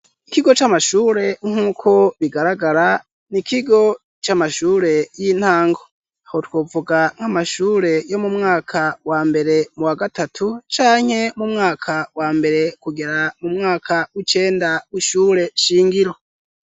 Ikigo c'amashure nk'uko bigaragara Ni ikigo c'amashure y'intango. Aho twovuga nk'amashure yo mumwaka wa mbere, mu wa gatatu canke mu mwaka wa mbere kugera mu mwaka w'icenda w'ishure shingiro